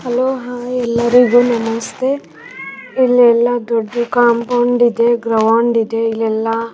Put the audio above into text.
ಆಟವನ್ನು ಅಡ್ತ ಇದಾರೆ ಹೂಂ ಮರಗಳು ಇದಾವೆ.